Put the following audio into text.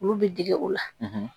Olu bɛ dege o la